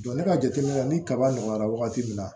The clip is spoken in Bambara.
ne ka jateminɛ ni kaba nɔgɔyara wagati min na